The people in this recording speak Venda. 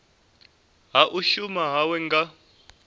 ha u shuma hawe nga